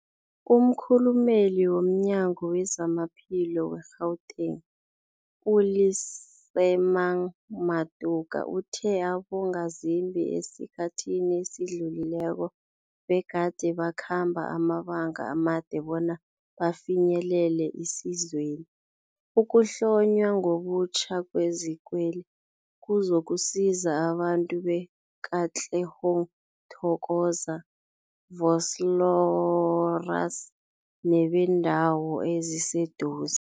Umkhulumeli womNyango weZamaphilo we-Gauteng, u-Lesemang Matuka uthe abongazimbi esikhathini esidlulileko begade bakhamba amabanga amade bona bafinyelele isizweli. Ukuhlonywa ngobutjha kwezikweli kuzokusiza abantu be-Katlehong, Thokoza, Vosloorus nebeendawo eziseduze.